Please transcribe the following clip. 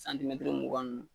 mugan ni